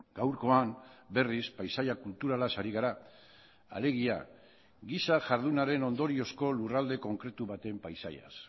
gaurkoan berriz paisaia kulturalaz ari gara alegia giza jardunaren ondoriozko lurralde konkretu baten paisaiaz